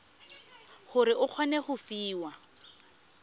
gore o kgone go fiwa